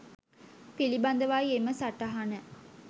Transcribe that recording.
පිළිබඳවයි එම සටහන.